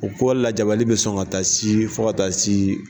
O ko lajabali bi sɔn ka taa si fo ka taa si